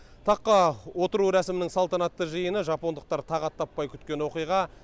таққа отыру рәсімінің салтанатты жиыны жапондықтар тағат таппай күткен оқиға